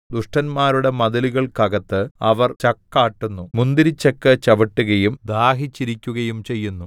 ദുഷ്ടന്മാരുടെ മതിലുകൾക്കകത്ത് അവർ ചക്കാട്ടുന്നു മുന്തിരിച്ചക്ക് ചവിട്ടുകയും ദാഹിച്ചിരിക്കുകയും ചെയ്യുന്നു